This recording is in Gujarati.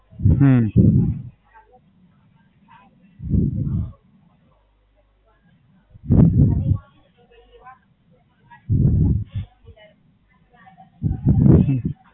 હમ